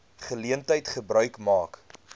geleentheid gebruik maak